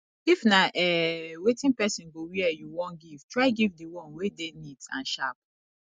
if na um wetin persin go wear you won give try give di one wey de neat and sharp